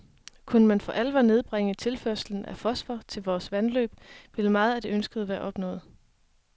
Kunne man for alvor nedbringe tilførslen af fosfor til vore vandløb, ville meget af det ønskede være opnået.